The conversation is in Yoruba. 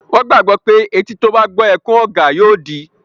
Wọ́n gbàgbọ́ pé etí tó bá gbọ́ ẹkún ọ̀gà yóò di